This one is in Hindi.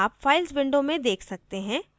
आप files window में देख सकते हैं